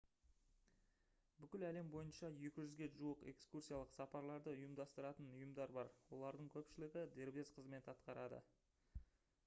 бүкіл әлем бойынша 200-ге жуық экскурсиялық сапарларды ұйымдастыратын ұйымдар бар олардың көпшілігі дербес қызмет атқарады